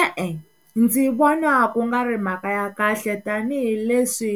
E-e, ndzi vona ku nga ri mhaka ya kahle tanihileswi